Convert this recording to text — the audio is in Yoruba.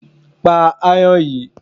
Pa ayan yìí!